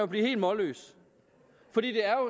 blive helt målløs for det er